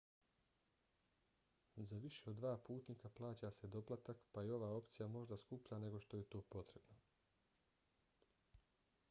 za više od 2 putnika plaća se doplatak pa je ova opcija možda skuplja nego što je to potrebno